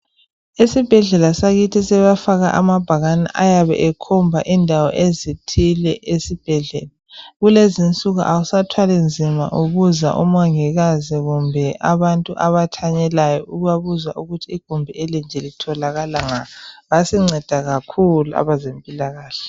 Esibhedlela sakithi sebefaka amabhakane ayabe ekhomba indawo ezithile esibhedlela. Kulezinsuku awusathwali nzima ubuza umongikazi kumbe abantu abathanyelayo ubabuza ukuthi igumbi elinje litholakala ngaphi. Basinceda kakhulu abezempilakahle.